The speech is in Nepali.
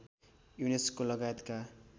युनेस्को लगायतका